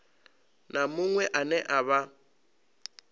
na muṅwe ane a vha